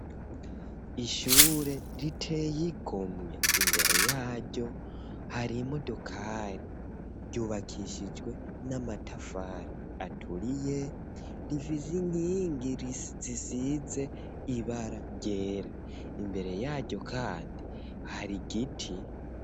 Ishure riteye igomwe, imbere yaryo hari imodokari, ryubakishijwe n'amatafari aturiye, rifise inkingi zisize ibara ryera, imbere yaryo kandi hari igiti.